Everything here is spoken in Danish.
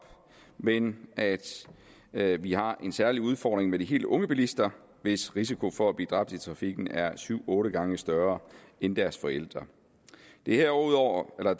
men at at vi har en særlig udfordring med de helt unge bilister hvis risiko for at blive dræbt i trafikken er syv otte gange større end deres forældres herudover